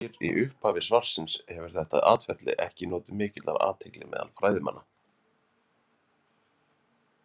Eins og segir í upphafi svarsins hefur þetta atferli ekki notið mikillar athygli meðal fræðimanna.